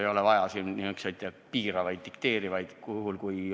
Ei ole vaja selliseid piiravaid, dikteerivaid näpunäiteid!